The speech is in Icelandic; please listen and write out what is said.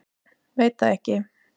Veit það ekki.